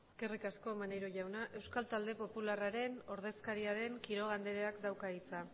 eskerrik asko maneiro jauna euskal talde popularraren ordezkaria den quiroga andreak dauka hitza